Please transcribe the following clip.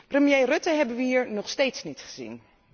Premier Rutte hebben we hier nog steeds niet gezien.